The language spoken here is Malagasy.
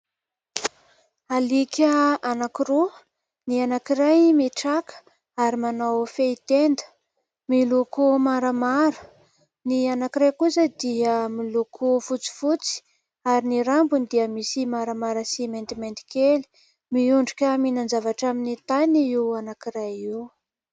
Alika anankiroa : ny anankiray mitraka ary manao fehy tenda, miloko maramara ; ny anankiray kosa dia miloko fotsifotsy ary ny rambony dia misy maramara sy maintimainty kely. Miondrika mihinan-javatra amin'ny tany io anankiray io.